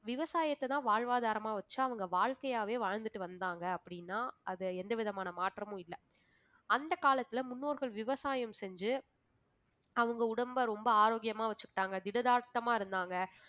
விவசாயத்தை தான் வாழ்வாதாரமாக வச்சு அவங்க வாழ்க்கையாவே வாழ்ந்துட்டு வந்தாங்க அப்படின்னா அதுல எந்தவிதமான மாற்றமும் இல்லை. அந்தக் காலத்தில முன்னோர்கள் விவசாயம் செஞ்சு அவங்க உடம்பை ரொம்ப ஆரோக்கியமாக வெச்சுக்கிட்டாங்க திடகாத்திரமாக இருந்தாங்க